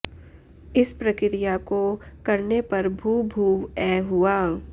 इस प्रक्रिया को करने पर भू भूव् अ हुआ